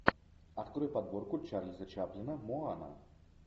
открой подборку чарльза чаплина моана